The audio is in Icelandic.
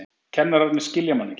Kennararnir skilja mann ekki.